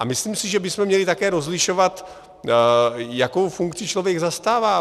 A myslím si, že bychom také měli rozlišovat, jakou funkci člověk zastává.